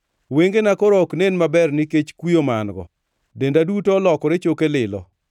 Wengena koro ok nen maber nikech kuyo ma an-go; denda duto olokore choke lilo.